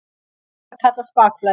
Þetta kallast bakflæði.